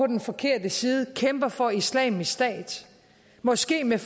den forkerte side kæmper for islamisk stat måske med